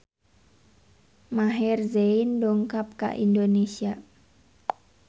Maher Zein dongkap ka Indonesia